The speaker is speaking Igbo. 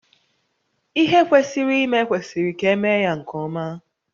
Ihe kwesịrị ime kwesịrị ka emee ya nke ọma